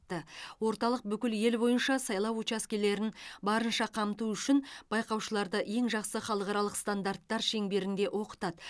орталық бүкіл ел бойынша сайлау учаскелерін барынша қамту үшін байқаушыларды ең жақсы халықаралық стандарттар шеңберінде оқытады